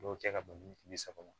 Dɔw kɛ ka ban bi saba